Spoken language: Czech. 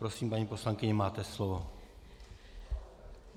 Prosím, paní poslankyně, máte slovo.